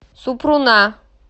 супруна